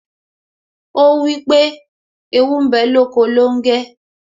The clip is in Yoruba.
Ó wípé ' Ewu ń bẹ lóko longe'